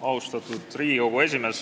Austatud Riigikogu esimees!